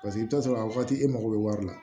Paseke i bɛ t'a sɔrɔ a wagati e mago bɛ wari la